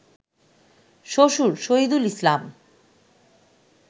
শ্বশুর শহীদুল ইসলাম